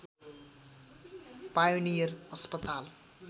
pioneer अस्पताल